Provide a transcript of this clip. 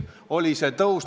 Selline on meie positsioon.